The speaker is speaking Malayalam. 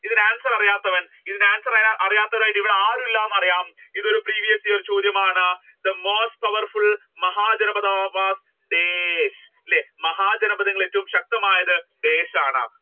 ഇതിന്റെ answer അറിയാത്തവർ ഇതിന്റെ answer അറിയാത്തവരായിട്ട് ആരും ഇല്ലന്ന് അറിയാം ഇത് ഒരു previous year ചോദ്യമാണ് the most powerful Mahajanapadha was Desh അല്ലെ മഹാജനപഥകളിൽ ഏറ്റവും ശക്തമായത് ദേശ് ആണ്